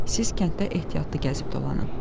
Siz kənddə ehtiyatlı gəzib dolanın.